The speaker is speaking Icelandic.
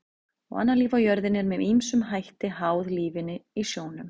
Og annað líf á jörðinni er með ýmsum hætti háð lífinu í sjónum.